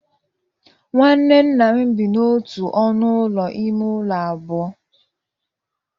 Nwanne nna m bi n'otu ọnụ ụlọ ime ụlọ abụọ